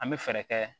An bɛ fɛɛrɛ kɛ